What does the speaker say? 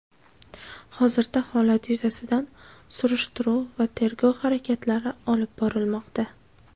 Hozirda holat yuzasidan surishtiruv va tergov harakatlari olib borilmoqda.